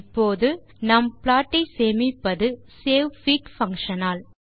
இப்போது நாம் ப்ளாட் ஐ சேமிப்பது சேவ்ஃபிக் பங்ஷன் ஆல்